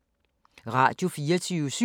Radio24syv